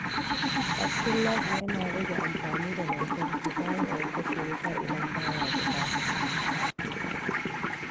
Abdullahi yana rage amfani da lantarki ta hanyar kashe wuta idan ba ya buƙata.